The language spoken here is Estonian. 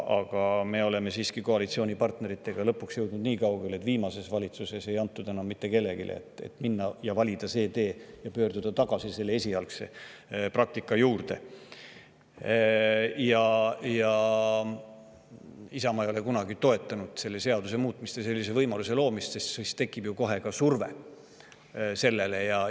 Aga me jõudsime koalitsioonipartneritega siiski lõpuks nii kaugele, et viimases valitsuses ei antud seda enam mitte kellelegi, sest valisime selle tee, et pöörduda tagasi esialgse praktika juurde, sest Isamaa ei ole kunagi toetanud seaduse muutmist ega sellise võimaluse loomist, sest muidu tekiks kohe selle surve.